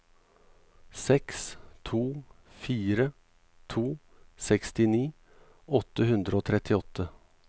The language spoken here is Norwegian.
seks to fire to sekstini åtte hundre og trettiåtte